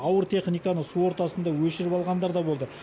ауыр техниканы су ортасында өшіріп алғандар да болды